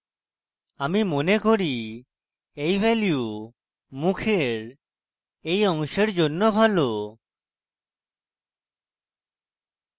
আমি মনে করি এই value মুখের এই অংশের জন্য ভালো